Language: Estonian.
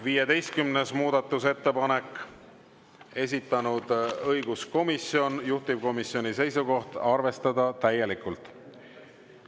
15. muudatusettepanek, esitanud õiguskomisjon, juhtivkomisjoni seisukoht: arvestada täielikult.